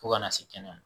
Fo kana se kɛnɛya